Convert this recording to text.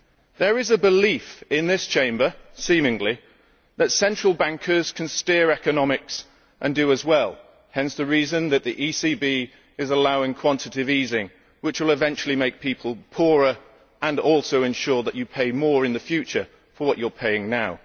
There is seemingly a belief in this Chamber that central bankers can steer economics and do so as well hence the reason that the ECB is allowing quantitative easing, which will eventually make people poorer and also ensure that you pay more in the future for what you are paying now.